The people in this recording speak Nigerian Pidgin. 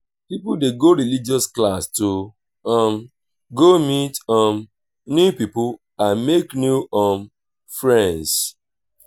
pipo de go religious class to um go meet um new pipo and make new um friends